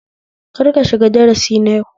Kar ka shiga darasi na yau